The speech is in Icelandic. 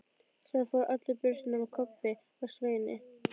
Síðan fóru allir burt nema Kobbi og Svenni.